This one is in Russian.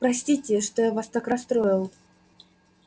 простите что я вас так расстроил